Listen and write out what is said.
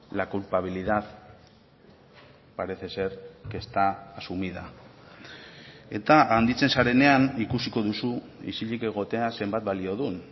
la culpabilidad parece ser que está asumida eta handitzen zarenean ikusiko duzu isilik egotea zenbat balio duen